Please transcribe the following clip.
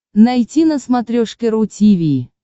найти на смотрешке ру ти ви